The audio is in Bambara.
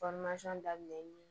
daminɛnni